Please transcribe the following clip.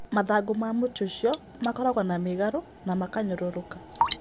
Mathangũ ma mũtĩ ũcio makoragwo na mĩgarũ na makanyũrũrũka.